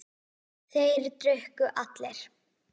Þeir drukku allir.